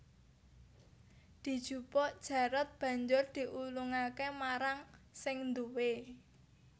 Dijupuk Jarot banjur diulungake marang sing duwé